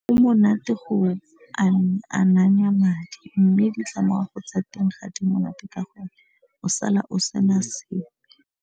Monate go amanya madi mme ditlamorago tsa teng ga di monate ka gore o sala o sena sepe.